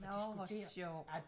Nåh hvor sjovt